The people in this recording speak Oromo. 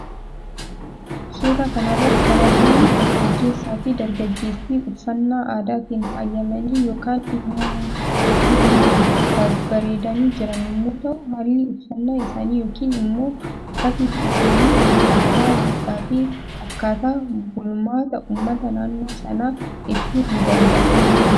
Suuraa kanarratti kan argamu dargaggeessa fi dargaggeettiii uffannaa aadaatiin faayamanii yookan imma babbaredani jiran yommuu ta'u haallii uffanna isaani yookiin immoo uffatni isaanii aadaa duudhaa fi akkata bulmaata uummata naannoo sana ibsuu ni dandaha.